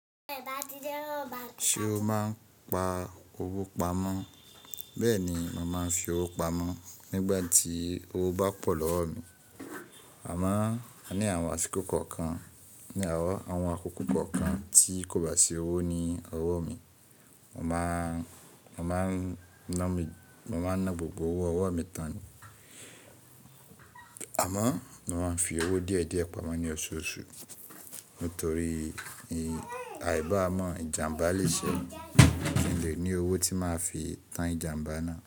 Ṣé o máa ń pa owó pamọ́? Bẹ́ẹ̀ni, mo máa ń fi owó pamọ́ nígbà tí owó bá pọ̀ lọ́wọ́ mi. Àmọ́, ní àwọn àṣìkò kọ̀ọ̀kan ní àwọn akókò kọ̀ọ̀kan tí kò bá sí owó ní ọwọ́ mi, mo máa ń ná gbogbo owó ọwọ́ mi tán. Àmọ́, mo máa ń fi owó díẹ̀ díẹ̀ pamọ́ ní ọṣọọṣù nítorí àìbá mọ ìjàmbá lè ṣẹ́ mi. Kí n lè ní owó tí màá fi tán ìjàmbá náà.